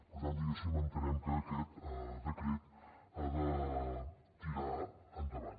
per tant diguéssim entenem que aquest decret ha de tirar endavant